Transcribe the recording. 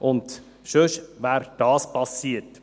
Denn sonst wäre das passiert.